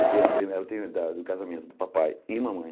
Eu a pri eu tenho a idade do casamento do papai e mamãe.